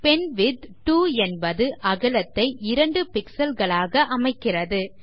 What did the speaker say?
penwidth 2 என்பது அகலத்தை 2 pixel களாக அமைக்கிறது